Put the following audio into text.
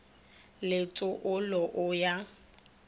le tso olo o ya